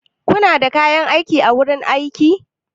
Kuna da kayan aiki a wurin aiki?